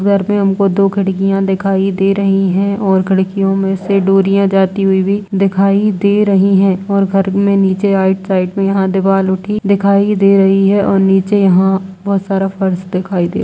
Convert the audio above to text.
घर में हमको दो खिड़कियां दिखाई दे रही हैं और खिड़कियों में से डोरियां जाती हुई भी दिखाई दे रही हैं और घर में नीचे आईड साइड में यहाँ दीवाल उठी दिखाई दे रही है और नीचे यहाँ बोहोत सारा फर्श दिखाई दे --